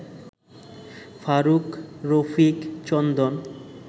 Faruk, Rafiq, Chandan